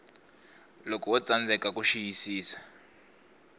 loko wo tsandzeka ku xiyisisa